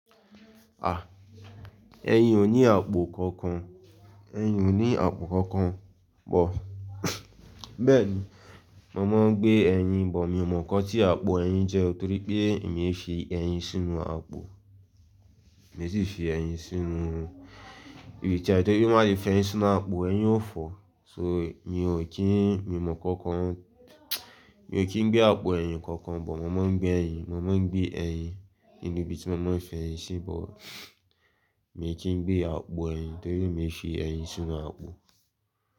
Ah, ẹyin ò ní àpò kankan, ẹyin ò ní àpò kankan bọ̀. Bẹ́ẹ̀ni, mo máa ń gbé ẹyin, but mi ò mọ nǹkan tí àpò ẹyin jẹ́ torí pé mi ò fi ẹyin sínú àpò. Mi tí ì fi ẹyin sínú ibi tí, torí má jẹ fi ẹyin sínú àpò ẹyin ó fọ́. So mi ò kí n, mi ò mọ nkankan, mi ò kí ń gbé àpò ẹyin kankan, but màá máa ń gbé ẹyin, màá máa ń gbé ẹyin nínú ibi tí màá máa ń fi ẹyin sí, but mi ò kí ń gbé àpò ẹyin torí mi ò fi ẹyin sínú àpò.